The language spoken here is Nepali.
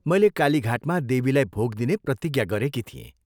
मैले कालीघाटमा देवीलाई भोग दिने प्रतिज्ञा गरेकी थिएँ।